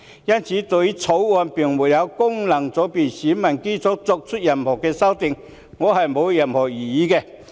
因此，對於《條例草案》沒有就功能界別選民基礎作出任何修訂建議，我沒有任何異議。